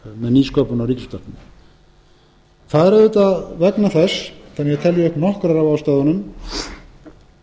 nýsköpun á ríkisútvarpinu það er auðvitað vegna þess svo ég telji upp nokkrar af ástæðunum að